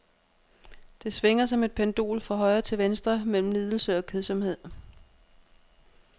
Det svinger som et pendul fra højre til venstre mellem lidelse og kedsomhed.